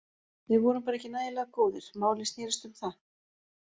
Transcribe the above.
Við vorum bara ekki nægilega góðir, málið snérist um það.